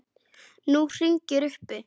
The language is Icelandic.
Nú hringir uppi.